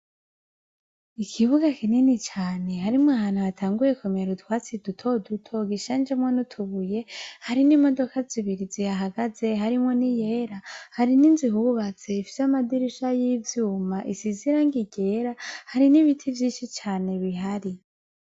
Ikibuga kinini cane harimwo ahantu hatanguye kumera utwatsi dutoduto ducanzemo nutubuye hari modoka zibiri zihahagaze harimwo niyera ,hari ninzu ihubatse Ifise amadirisha y ivyuma isize Irangi ryera hari nibiti vyinshi cane bihari.